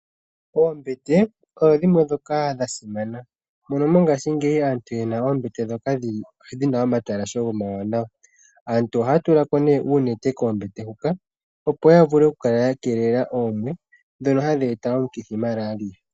Oombete odho dhimwe ndhoka dhasimana, mono mongashingeyi aantu oyena oombete dhina omatalashe omawanawa. Aantu ohaya tula ko uunete koombete huka, opo yavule okukeelela oomwe ndhono hadhi eta omukithi Malaria.